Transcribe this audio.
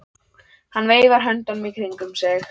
Hann veifar höndunum í kringum sig.